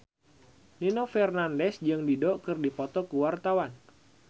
Nino Fernandez jeung Dido keur dipoto ku wartawan